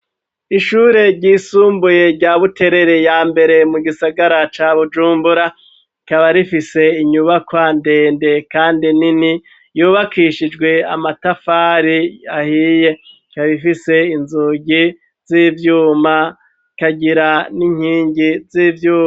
Ishure ryisumbuye rya buterere ya mbere mu gisagara ca bujumbura kabarifise inyubakwa ndende, kandi ni ni yubakishijwe amatafari ahiye kabifise inzugi z'ivyuma kagira n'inkingi z'ivyuma.